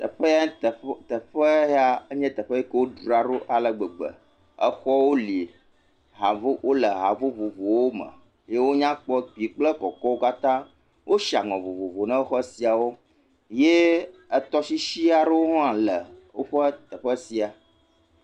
Teƒeŋ, teƒe yae nye teƒe yi ke wodra ɖo ale gbegbe. Exɔwo li. Wole ha vo, wole ha ɖvovovowome. Eye wonya kpɔ. Kpui kple kɔkɔwo katã. Woshi aŋɔ vovovo na xɔ sia wo ye etɔshishi arewo hã le woƒe teƒe sia.